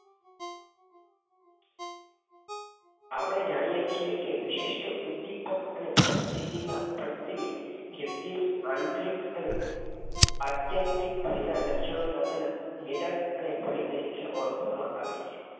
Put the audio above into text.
આ પડે જાણીયે છીએ કે વિશિષ્ટ ઉદ્દીપક કે પરિસ્થિતિ પરત્વે વ્યક્તિના અતાર્કિક અને આત્યંતિ ભયનાં લક્ષણો ના તેના નિદાનઅને ભય તરીકે ઓળખવામાં આવે છે.